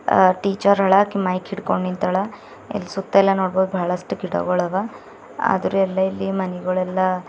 ಆ ಟೀಚರ್ ಹಾಳ ಆಕಿ ಮೈಕ್ ಹಿಡ್ಕೊಂಡ್ ನಿಂತಾಳ ಈ ಸುತ್ತ ನೋಡಬಹುದಿಲ್ಲಿ ಬಹಳಷ್ಟು ಗಿಡ ಗೋಳ ಹವಾ ಅದ್ರು ಇಲ್ಲೆಲ್ಲಾ ಮನೆಗಳೆಲ್ಲ--